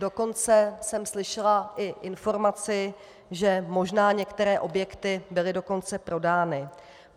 Dokonce jsem slyšela i informaci, že možná některé objekty byly dokonce prodány.